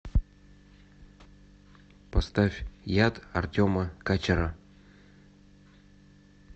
поставь яд артема качера